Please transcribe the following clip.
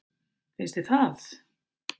Finnst þér það?